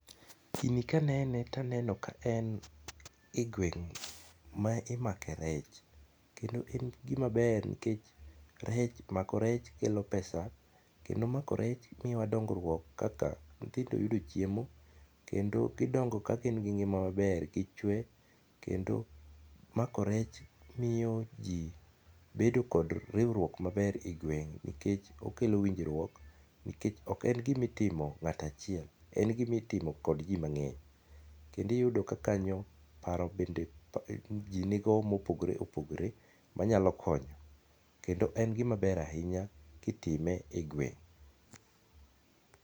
Gini ka anene to aneno ka en e gweng' ma imake rech, kendo en gimaber nikech rech mako rech kelo pesa, kendo mako rech miyowa dong'ruok kaka nyithindo yudo chiemo, kendo gidongo ka gin gi ng'ima maber gichwe kendo mako rech miyo ji bedo kod riuruok maber a gweng' nikech okelo winjruok nikech ok en gima itimo ng'ata chiel, en gima itimo kod ji mang'eny, kendo iyudo ka kanyo paro bende ji nigo ma opogore opogore manyalo konyo kendo en gimaber ahinya kitime e gweng'